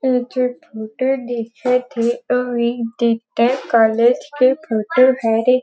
ऊ जो फोटो दिखत हे वो एक बी.टेक. कॉलज. के फोटो हरे।